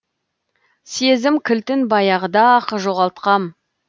сезім кілтін баяғыда ақ жоғалтқам